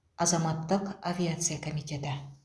азаматтық авиация комитеті